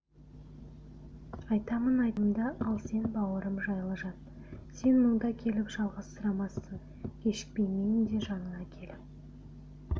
айтамын айтарымды ал сен бауырым жайлы жат сен мұнда келіп жалғызсырамассың кешікпей мен де жаныңа келіп